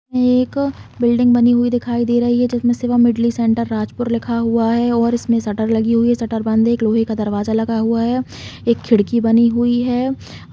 ये एक बिल्डिंग बनी हुई है दिखाई दे रही है जिसमें शिवमुरली सेंटर राजपुर लिखा हुआ है और इसमें शटर लगी हुआ है शटर बंद है एक लोहे का दरवजा लगा हुआ है एक खिड़की बनी हुई हैं ।